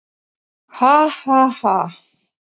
Ha, ha, ha.